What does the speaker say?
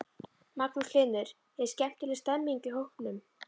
Magnús Hlynur: Er skemmtileg stemming í hópnum?